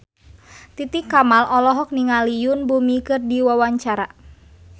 Titi Kamal olohok ningali Yoon Bomi keur diwawancara